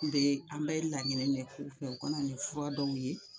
N bɛ, an bɛ laɲini ne k'u fɛ u ka na ni fura dɔw ye.